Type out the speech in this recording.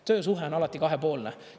Töösuhe on alati kahepoolne.